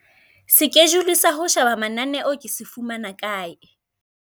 Sekejule sa ho sheba mananeo ke se fumana kae?